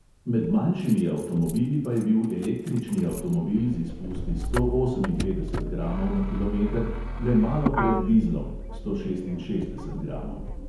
Med manjšimi avtomobili pa je bil električni avtomobil z izpusti sto oseminpetdeset gramov na kilometer le malo pred dizlom (sto šestinšestdeset gramov).